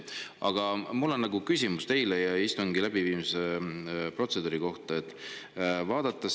Aga mul on teile küsimus istungi läbiviimise protseduuri kohta.